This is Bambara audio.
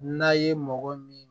N'a ye mɔgɔ min